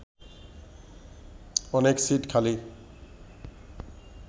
অনেক সিট খালি